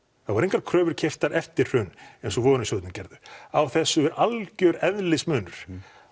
það voru engar kröfur keyptar eftir hrun eins og gerðu á þessu er algjör eðlismunur